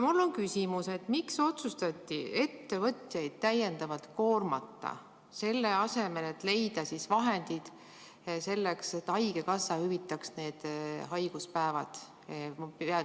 Mul on küsimus: miks otsustati ettevõtjaid täiendavalt koormata, selle asemel et leida vahendid, et haigekassa ise hüvitaks need haiguspäevad?